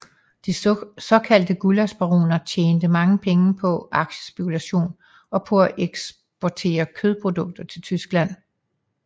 De såkaldte gullaschbaroner tjente mange penge på aktiespekulation og på at eksportere kødprodukter til Tyskland